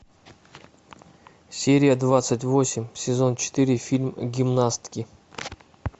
серия двадцать восемь сезон четыре фильм гимнастки